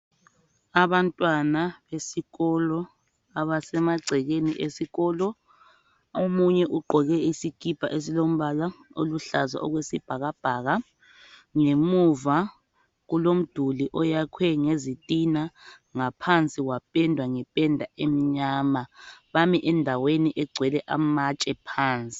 Abantwana besikolo abasemagcekeni esikolo, omunye ugqoke isikipa esilombala oluhlaza okwesibhakabhaka. Ngemuva kulomduli oyakhwe ngezitina, ngaphansi wapendwa ngependa emnyama. Bami endaweni egcwele amatshe phansi.